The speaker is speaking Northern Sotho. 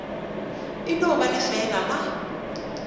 e no ba lefeela la